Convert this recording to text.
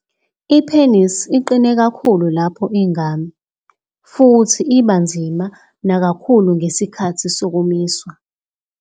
I-penis iqine kakhulu lapho ingami, futhi iba nzima nakakhulu ngesikhathi sokumiswa.